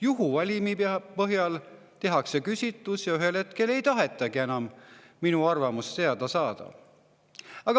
Juhuvalimi põhjal tehakse küsitlus, aga ei tahetagi enam minu arvamust teada saada.